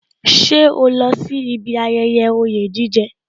Ṣé o lọ sí ibi ayẹyẹ oye jije